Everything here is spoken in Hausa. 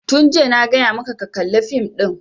Tun jiya na gaya maka ka kalla fim ɗin!